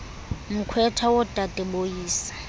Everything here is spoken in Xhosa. mkhwetha wodade boyise